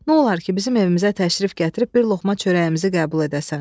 Nolar ki, bizim evimizə təşrif gətirib bir loğma çörəyimizi qəbul edəsən?